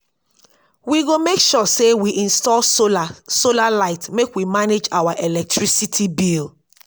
we go make sure sey we install solar solar light make we manage our electricity bill